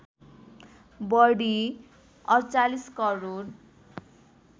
बढी ४८ करोड